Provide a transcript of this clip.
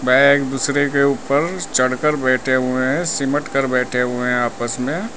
वह एक दूसरे के ऊपर चढ़कर बैठे हुए है सिमटकर बैठे हुए है आपस में।